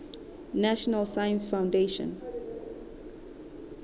national science foundation